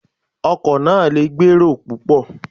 Ọkọ̀ náà lè gbà èrò púpò.